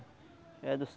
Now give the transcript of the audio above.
É do